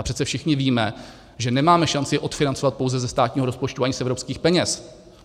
A přece všichni víme, že nemáme šanci je odfinancovat pouze ze státního rozpočtu, ani z evropských peněz.